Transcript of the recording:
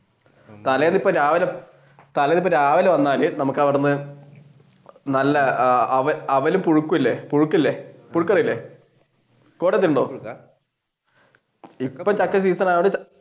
തലേന്ന് ഇപ്പൊ രാവിലെ തലേന്ന് ഇപ്പൊ രാവിലെ വന്നാൽ നമ്മുക്കവിടെന്ന് നല്ല അവൽ പുഴുക്ക് ഇല്ലേ പുഴുക്ക് ഇല്ലേ പുഴുക്ക് അറിയില്ലേ